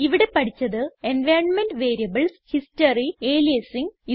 ഇവിടെ പഠിച്ചത് environment variables history aliasing